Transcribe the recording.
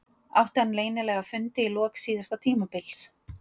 Átti hann leynilega fundi í lok síðasta tímabils.